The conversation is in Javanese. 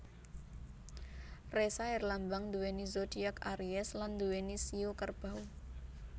Ressa herlambang nduweni zodiak aries lan nduweni shio Kerbau